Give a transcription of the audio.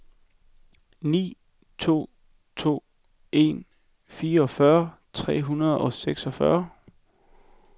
ni to to en fireogfyrre tre hundrede og seksogfyrre